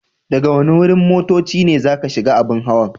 Daga wani wurin motocci ne zaka shiga abun hawan?